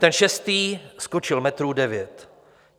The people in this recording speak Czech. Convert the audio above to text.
Ten šestý skočil metrů devět.